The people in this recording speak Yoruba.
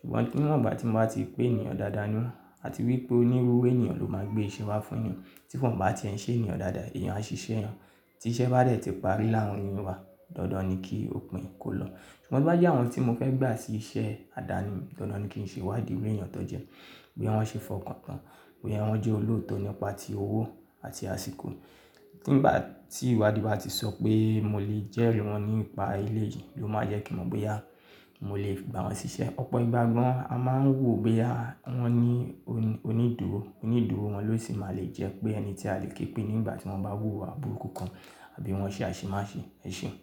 Ṣùgbọ́n ní wọ́n bá tí mọ́ bá ti ri pé èèyàn dáadáa ni àti wípé ó ní rúru èèyàn ló máa gbé iṣẹ́ wa fún èèyàn tí wọ́n bá tí ń ṣe èèyàn dáadáa. Eyànsísẹ́ yẹn tí iṣẹ́ bá dẹ̀ ti parí láààrin wa, dandan ni kí òpin kó lọ. Ṣùgbọ́n bí bá jẹ́ àwọn tí mo fẹ́ gbà sí iṣẹ́ àdáni, dandan ni kí n ṣe ìwádìí iru ẹ̀yàn tó jẹ́ boya wọ́n ṣe fọkàn tán, boya wọ́n jẹ́ olóòótọ́ nípa ti owó àti àsìkò. Tí nígbà tí ìwádìí bá ti sọ pé mo lè jẹ́ ri wọ́n nípa elẹ̀ yìí ló máa jẹ́ kí mo mọ̀ bóyá mo lè gbà wọ́n ṣiṣẹ́. Ọ̀pọ̀ ìgbà gan a máa ń wò bóyá wọ́n ní onídùúró. Onídùúró wọn ló sì máa lè jẹ́ pé ẹni tí a lè ké pé nígbà tí wọ́n bá wù wá burú kùkù àbí wọ́n ṣe àṣemáṣe ẹ̀ṣìn.